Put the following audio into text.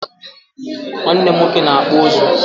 nwannem nwoke na-akpụ ụzụ.